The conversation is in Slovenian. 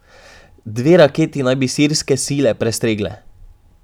Dve raketi naj bi sirske sile prestregle.